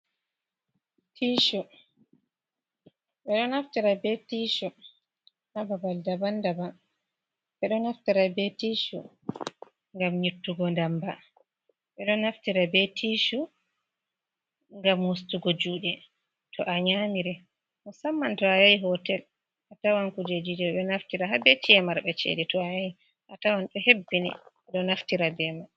Tiishu, haa babal daban daban, ɓe ɗo naftira bee tiishu ngam nyittugo ndamba ɓe ɗo naftira bee tiishu ngam gam wostugo juuɗe to a nyaamiri, musamman to a yahi hotel atawan kujeejiije ɗo naftira haa bee ci e marɓe ceede, to a yahi, a tawan ɗo hebbini do naftira bee mai.